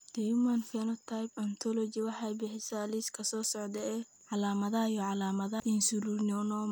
The Human Phenotype Ontology waxay bixisaa liiska soo socda ee calaamadaha iyo calaamadaha Insulinoma.